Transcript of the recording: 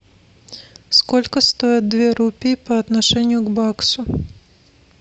сколько стоят две рупии по отношению к баксу